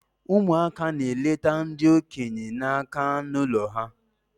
Ụmụaka na-elete ndi okenya na nka in their home